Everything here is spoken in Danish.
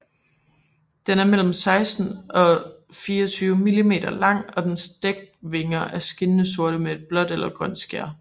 Den er mellem 16 og 24 mm lang og dens dækvinger er skinnende sorte med et blåt eller grønt skær